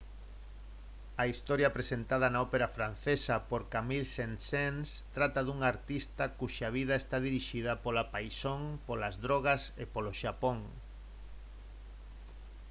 a historia presentada na ópera francesa por camille saint-saens trata dun artista cuxa vida está dirixida pola paixón polas drogas e polo xapón